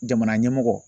Jamana ɲɛmɔgɔ